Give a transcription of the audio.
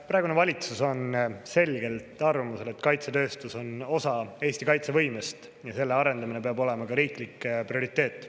Praegune valitsus on selgelt arvamusel, et kaitsetööstus on osa Eesti kaitsevõimest ja selle arendamine peab olema riiklik prioriteet.